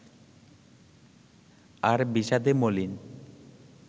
আর বিষাদে মলিন